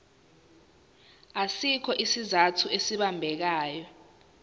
asikho isizathu esibambekayo